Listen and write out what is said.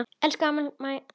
Elsku amma Mæja.